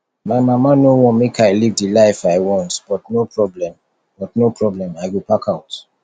my mama no wan make i live the life i want but no problem but no problem i go pack out